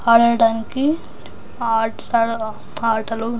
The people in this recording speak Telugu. అర టైం కి ఆట్లలు-ఆటలు.